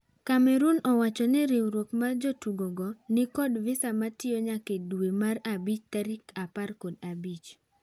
Cameroon owchoni riuruok mar jotugo go ni kod visa matiyo nyake dwee mar abich tarik apar kod abich.